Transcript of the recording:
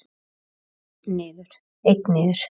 Einn niður.